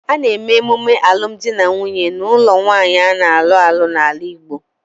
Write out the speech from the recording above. A na-eme emume alum di na nwunye n'ulo nwaanyi a na-alu alu n'ala Igbo